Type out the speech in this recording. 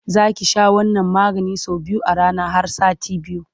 Za ki sha wannan maganin sau biyu a rana har sati biyu.